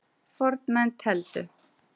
Fornmenn tefldu.